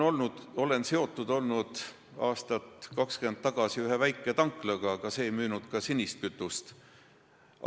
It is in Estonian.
Olin aastat 20 tagasi seotud ühe väiketanklaga, aga see ei müünud sinist kütust.